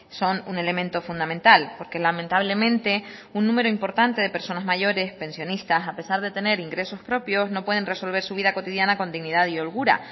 son un elemento fundamental porque lamentablemente un número importante de personas mayores pensionistas a pesar de tener ingresos propios no pueden resolver su vida cotidiana con dignidad y holgura